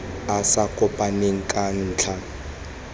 a sa kopaneng ka ntlha